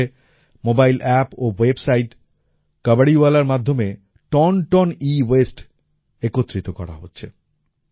ভোপালে mobile app ও website কবাড়ীওয়ালার মাধ্যমে টন টন এওয়াসতে একত্রিত করা হচ্ছে